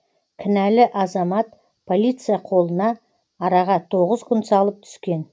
кінәлі азамат полиция қолына араға тоғыз күн салып түскен